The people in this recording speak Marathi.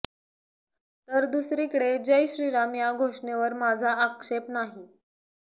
तर दुसरीकडे जय श्रीराम या घोषणेवर माझा आक्षेप नाही